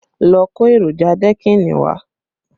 Go and bring deckings materials!